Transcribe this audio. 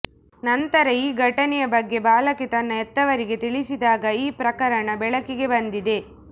ನಂತರ ಈ ಘಟನೆಯ ಬಗ್ಗೆ ಬಾಲಕಿ ತನ್ನ ಹೆತ್ತವರಿಗೆ ತಿಳಿಸಿದಾಗ ಈ ಪ್ರಕರಣ ಬೆಳಕಿಗೆ ಬಂದಿದೆ